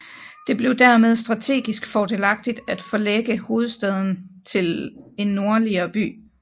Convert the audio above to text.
Det blev dermed strategisk fordelagtigt at forlægge hovedstaden til en nordligere by